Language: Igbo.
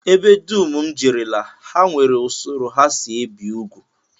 Ebe dum m jerela, ha nwere usoro ha si ebi ugwu